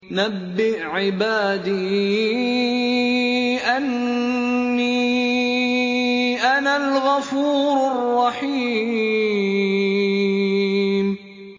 ۞ نَبِّئْ عِبَادِي أَنِّي أَنَا الْغَفُورُ الرَّحِيمُ